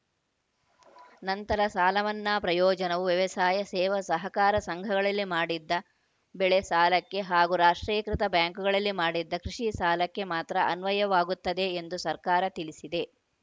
ನಂತರ ಸಾಲ ಮನ್ನಾ ಪ್ರಯೋಜನವು ವ್ಯವಸಾಯ ಸೇವಾ ಸಹಕಾರ ಸಂಘಗಳಲ್ಲಿ ಮಾಡಿದ ಬೆಳೆ ಸಾಲಕ್ಕೆ ಹಾಗೂ ರಾಷ್ಟ್ರೀಕೃತ ಬ್ಯಾಂಕುಗಳಲ್ಲಿ ಮಾಡಿದ ಕೃಷಿ ಸಾಲಕ್ಕೆ ಮಾತ್ರ ಅನ್ವಯವಾಗುತ್ತದೆ ಎಂದು ಸರ್ಕಾರ ತಿಳಿಸಿದೆ